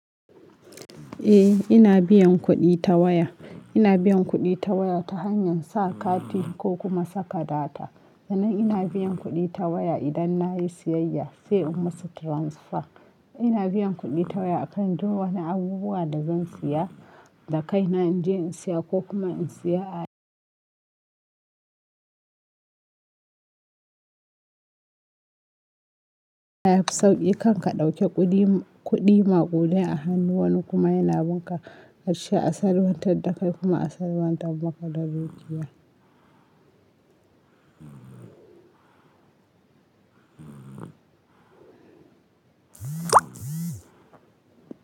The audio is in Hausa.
Eh ina biyan kuɗi ta waya, ina biyan kuɗi ta waya ta hanyar sa kati ko kuma saka data. Sannan ina biyan kuɗi ta waya idan nayi siyayya sai in musu transfer. Ina biyan kuɗi ta waya akan duk wani abubuwa da zan siya, da kai na in je in siya ko kuma in siya yafi sauƙi kan ka ɗauki kuɗi, kuɗi maƙudai a hannu wani kuma yana bin ka karshe a sarwantar da kai kuma a sarwantar maka da dukiya.